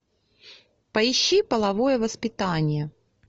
поищи половое воспитание